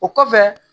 O kɔfɛ